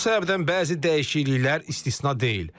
Bu səbəbdən bəzi dəyişikliklər istisna deyil.